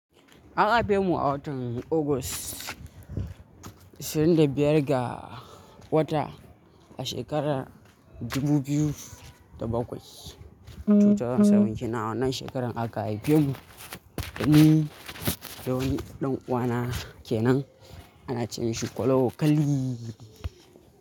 An haife mu a watan August, ishirin da biyar ga wata, a shekarar dubu biyu da bakwai. Two thousand seven kenan, a wannan shekaran aka haife mu, ni da wani ɗan uwana kenan, ana ce mishi Kwala Okali.